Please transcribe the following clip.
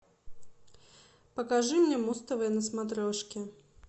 покажи мне муз тв на смотрешке